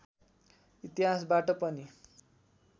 इतिहासबाट पनि